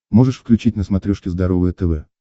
можешь включить на смотрешке здоровое тв